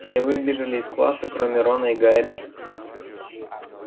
все выбежали из класса кроме рона и гарри